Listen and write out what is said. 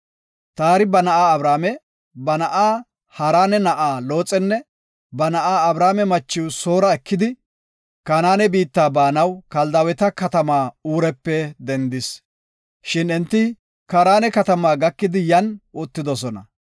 Taari ba na7aa Abrame, ba na7aa Haarane na7aa Looxenne, ba na7aa Abrame machiw Soora ekidi, Kanaane biitta baanaw Kaldaaweta katamaa Uurepe dendis. Shin enti Kaarane katama gakidi yan uttidosona.